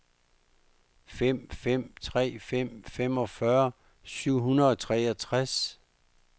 fem fem tre fem femogfyrre syv hundrede og treogtres